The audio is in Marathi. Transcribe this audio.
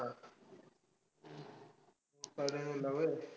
साडेनऊला व्हंय?